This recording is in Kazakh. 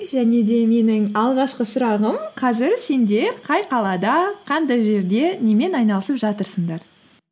және де менің алғашқы сұрағым қазір сендер қай қалада қандай жерде немен айналысып жатырсыңдар